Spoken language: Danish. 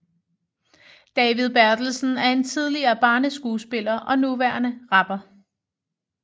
David Bertelsen er en tidligere barneskuespiller og nuværende rapper